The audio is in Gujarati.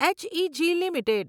H E G limited